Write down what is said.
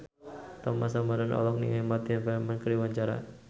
Thomas Ramdhan olohok ningali Martin Freeman keur diwawancara